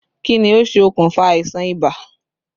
Kí ni ó ṣe okùnfà àìsàn ibà?